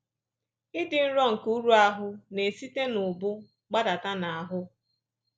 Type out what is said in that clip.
Ịdị nro nke uru ahụ́ na-esite n’ubu gbadata n’ahụ́